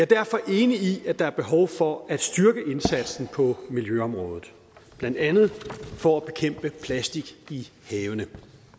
derfor enig i at der er behov for at styrke indsatsen på miljøområdet blandt andet for at bekæmpe plastik i havene